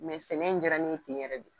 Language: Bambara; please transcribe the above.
Mɛ sɛnɛ in diyara nin yɛrɛ de ye.